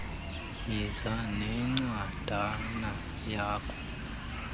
yiza nencwadana yakho